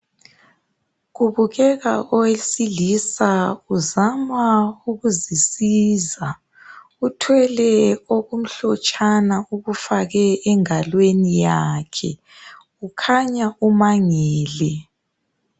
Kubukeka owesilisa uzama ukuzisiza. Uthwele okumhlotshana okufake engalweni yakhe. Kukhanya umangele.